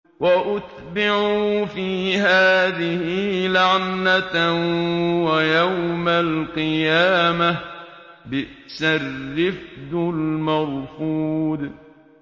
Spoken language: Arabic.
وَأُتْبِعُوا فِي هَٰذِهِ لَعْنَةً وَيَوْمَ الْقِيَامَةِ ۚ بِئْسَ الرِّفْدُ الْمَرْفُودُ